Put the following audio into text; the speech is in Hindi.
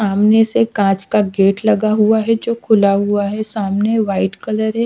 सामने से कांच का गेट लगा हुआ है जो खुला हुआ है सामने व्हाइट कलर है।